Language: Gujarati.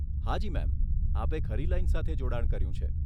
હાજી મેમ, આપે ખરી લાઈન સાથે જોડાણ કર્યું છે.